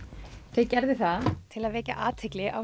þau gerðu það til að vekja athygli á